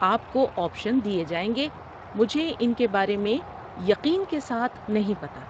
آپ کو آپشن دیے جائیں گے مجھے ان کے بارے میں یقین کے ساتھ نہیں پتہ۔